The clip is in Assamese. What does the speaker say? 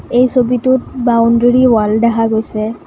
এই ছবিটোত বাউণ্ডাৰী ৱাল দেখা গৈছে।